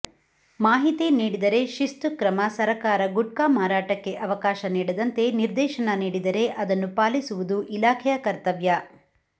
ಮಾಹಿತಿ ನೀಡಿದರೆ ಶಿಸ್ತು ಕ್ರಮ ಸರಕಾರ ಗುಟ್ಕಾ ಮಾರಾಟಕ್ಕೆ ಅವಕಾಶ ನೀಡದಂತೆ ನಿರ್ದೇಶನ ನೀಡಿದರೆ ಅದನ್ನು ಪಾಲಿಸುವುದು ಇಲಾಖೆಯ ಕರ್ತವ್ಯ